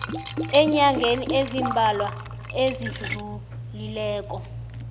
eenyangeni ezimbalwa ezidlulileko